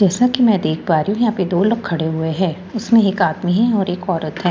जैसा कि मैं देख पा रही हूं यहां पे दो लोग खड़े हुए है उसमें एक आदमी है एक औरत है।